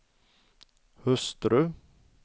hustru